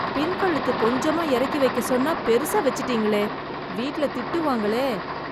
பின்கழுத்து கொஞ்சமா எறக்கி வைக்க சொன்னா, பெருசா வெச்சிட்டீங்களே.. வீட்ல திட்டுவாங்களே..